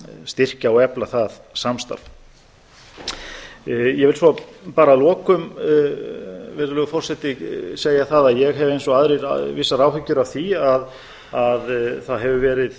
styrkja og efla það samstarf herra forseti ég vil svo bara að lokum segja það að ég hef eins og aðrir vissar áhyggjur af því að það hefur verið